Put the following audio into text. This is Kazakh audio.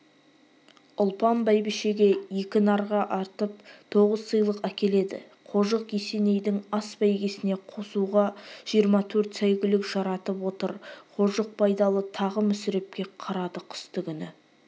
ұлпан бәйбішеге екі нарға артып тоғыз сыйлық әкеледі қожық есенейдің ас бәйгесіне қосуға жиырма төрт сәйгүлік жаратып отыр қожық байдалы тағы мүсірепке қарады қыстыгүні